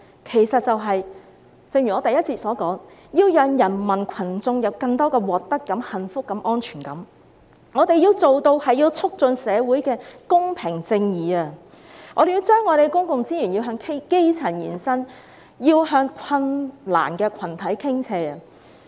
正如我之前的發言所說，是要讓人民群眾有更多獲得感、幸福感及安全感，我們要做到促進社會公平正義，要將公共資源向基層延伸、向困難群體傾斜。